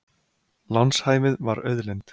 Lánshæfið var auðlind